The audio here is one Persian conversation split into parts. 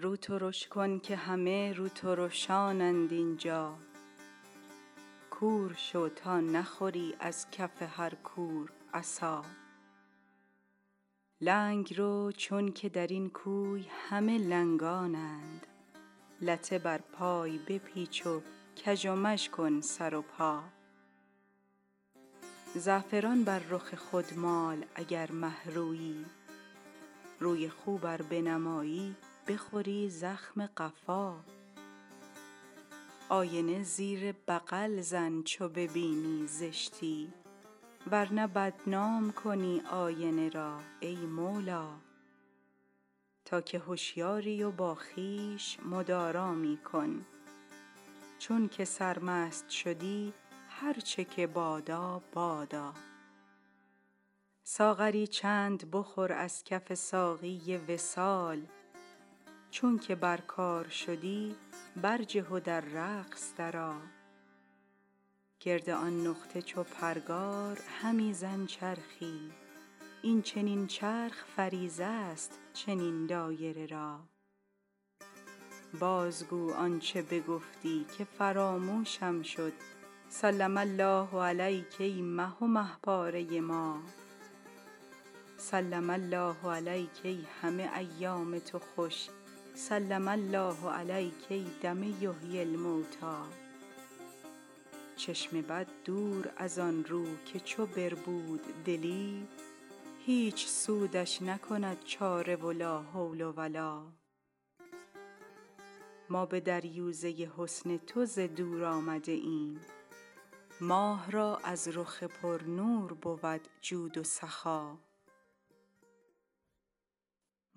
رو ترش کن که همه روترشانند این جا کور شو تا نخوری از کف هر کور عصا لنگ رو چونک در این کوی همه لنگانند لته بر پای بپیچ و کژ و مژ کن سر و پا زعفران بر رخ خود مال اگر مه رویی روی خوب ار بنمایی بخوری زخم قفا آینه زیر بغل زن چو ببینی زشتی ور نه بدنام کنی آینه را ای مولا تا که هشیاری و با خویش مدارا می کن چونک سرمست شدی هر چه که بادا بادا ساغری چند بخور از کف ساقی وصال چونک بر کار شدی برجه و در رقص درآ گرد آن نقطه چو پرگار همی زن چرخی این چنین چرخ فریضه ست چنین دایره را بازگو آنچ بگفتی که فراموشم شد سلم الله علیک ای مه و مه پاره ما سلم الله علیک ای همه ایام تو خوش سلم الله علیک ای دم یحیی الموتی چشم بد دور از آن رو که چو بربود دلی هیچ سودش نکند چاره و لا حول و لا ما به دریوزه حسن تو ز دور آمده ایم ماه را از رخ پرنور بود جود و سخا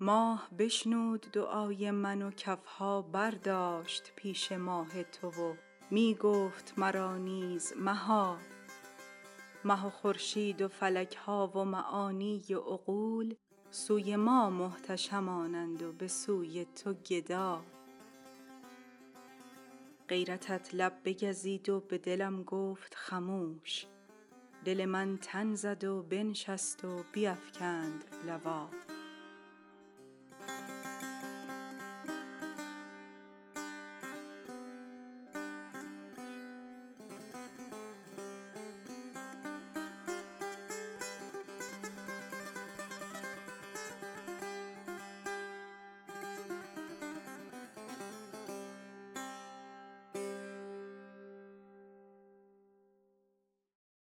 ماه بشنود دعای من و کف ها برداشت پیش ماه تو و می گفت مرا نیز مها مه و خورشید و فلک ها و معانی و عقول سوی ما محتشمانند و به سوی تو گدا غیرتت لب بگزید و به دلم گفت خموش دل من تن زد و بنشست و بیفکند لوا